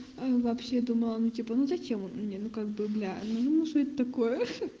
ну вообще думала ну типа ну зачем он мне ну как бы бля ну что это такое